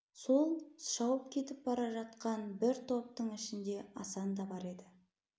сол шауып кетіп бара жатқан бір топтың ішінде асан да бар еді